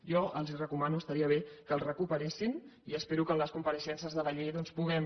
jo els recomano estaria bé que el recuperessin i espero que en les compareixences de la llei doncs puguem